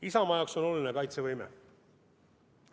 Isamaa jaoks on oluline kaitsevõime.